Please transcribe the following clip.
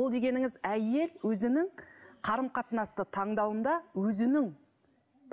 ол дегеніңіз әйел өзінің қарым қатынасты таңдауында өзінің